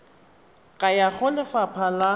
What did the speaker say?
ka ya go lefapha la